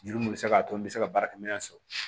Juru mun bɛ se k'a to n bɛ se ka baarakɛminɛn sɔrɔ